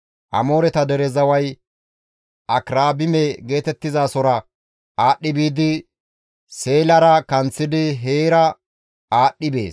Amooreta dere zaway Akirabime geetettizasora aadhdhi biidi Seelara kanththidi heera aadhdhi bees.